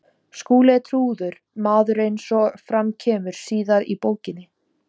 Skúli er trúaður maður eins og fram kemur síðar í bókinni.